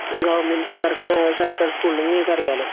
government സർക് അ സർക് സർക്കാർ സ്കൂളില് ഇനി നിങ്ങൾക് അറിയാലോ